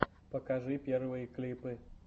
покажи первые клипы